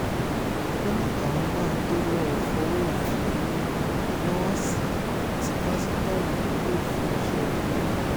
ó ní àwọn máa tóó lọ́ọ́ fọwọ́ òfin mú nọ́ọ̀sì tí pásítọ̀ ọ̀hún ń lò fún iṣẹ́ ibi náà